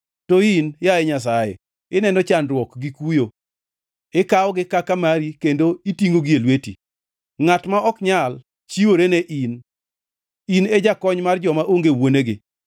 To in, yaye Nyasaye, ineno chandruok gi kuyo, ikawogi kaka mari kendo itingʼogi e lweti. Ngʼat ma ok nyal; chiwore ne in; in e jakony mar joma onge wuonegi.